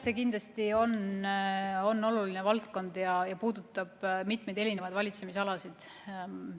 See kindlasti on oluline valdkond ja puudutab mitmeid valitsemisalasid.